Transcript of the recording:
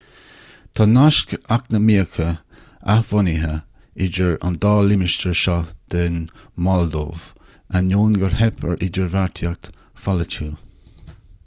tá naisc eacnamaíocha athbhunaithe idir an dá limistéar seo den mholdóiv in ainneoin gur theip ar idirbheartaíocht pholaitiúil